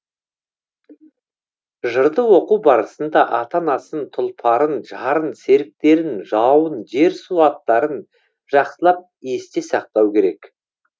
жырды оқу барысында ата анасын тұлпарын жарын серіктерін жауын жер су аттарын жақсылап есте сақтау керек